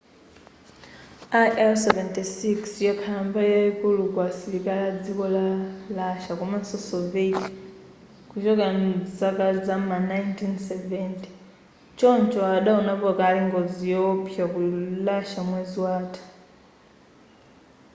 il-76 yakhala mbali yayikulu ya asilikali a dziko la russia komanso soviet kuchokera mzaka zam'ma 1970 choncho adawonapo kale ngozi yowopsa ku russia mwezi watha